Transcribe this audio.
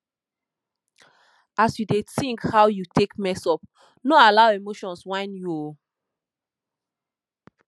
as yu dey tink how you take mess up no allow emotions whine you o